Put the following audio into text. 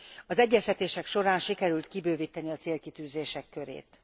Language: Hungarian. Az egyeztetések során sikerült kibővíteni a célkitűzések körét.